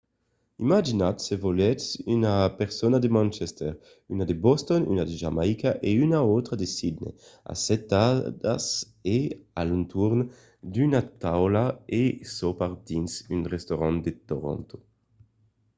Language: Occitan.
imaginatz se volètz una persona de manchester una de boston una de jamaïca e una autra de sydney assetadas a l'entorn d'una taula a sopar dins un restaurant de toronto